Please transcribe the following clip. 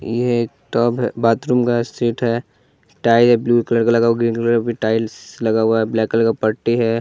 यह एक टब है बाथरूम का सेट है टाइल है ब्लू कलर का लगा हुआ ग्रीन कलर का भी टाइल्स लगा हुआ है ब्लैक कलर का पट्टी है।